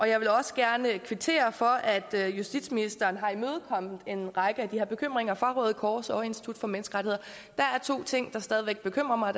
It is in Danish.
jeg vil også gerne kvittere for at justitsministeren har imødekommet en række af de her bekymringer fra røde kors og institut for menneskerettigheder der er to ting der stadig væk bekymrer mig